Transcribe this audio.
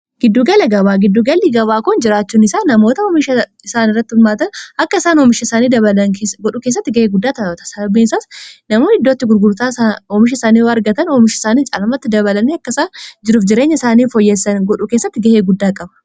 giddugala gabaa giddugalii gabaa kun jiraachuun isaa namoota oomisha isaan irrattin maatan akka isaan oomisha isaanii dabalan godhuu kessatti ga'ee guddaa taata salbiisaas namoon iddootti gurgurtaa oomisha isaanii wargatan oomisha isaanii caalmatti dabalan akkaisaa jiruuf jireenya isaanii fooyyessan godhuu keessatti ga'ee guddaa qaba